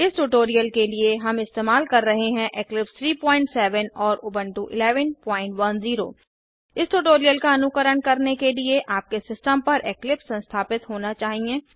इस ट्यूटोरियल के लिए हम इस्तेमाल कर रहे हैं इक्लिप्स 370 और उबंटू 1110 इस ट्यूटोरियल का अनुकरण करने के लिए आपके सिस्टम पर इक्लिप्स संस्थापित होना चाहिए